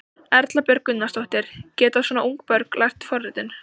Erla Björg Gunnarsdóttir: Geta svona ung börn lært forritun?